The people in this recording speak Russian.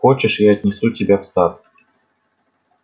хочешь я отнесу тебя в сад